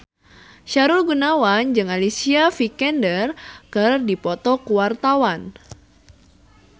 Sahrul Gunawan jeung Alicia Vikander keur dipoto ku wartawan